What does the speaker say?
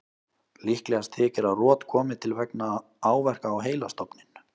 Líklegast þykir að rot komi til vegna áverka á heilastofninn.